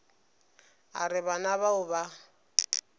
a re bana bao ba